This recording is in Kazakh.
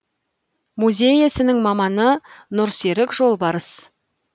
музей ісінің маманы нұрсерік жолбарысты